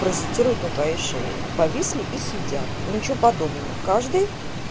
паразитируют на твоей шее повисли и сидят и ничего подобного каждый